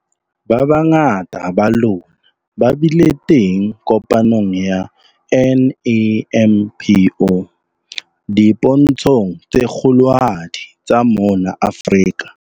Ba bangata ba lona ba bile teng kopanong ya NAMPO dipontshong tse kgolohadi tsa mona Afrika.